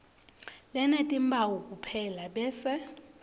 lenetimphawu kuphela bese